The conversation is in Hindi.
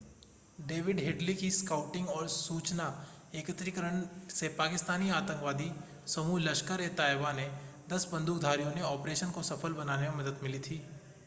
डेविड हेडली की स्काउटिंग और सूचना एकत्रीकरण से पाकिस्तानी आतंकवादी समूह लश्कर-ए-तैयबा के 10 बंदूकधारियों को ऑपरेशन को सफल बनाने में मदद मिली थी